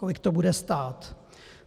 Kolik to bude stát?